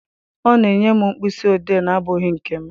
Ọ na-enye m mkpịsị odee na-abụghị nke m.